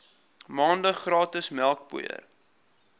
maande gratis melkpoeier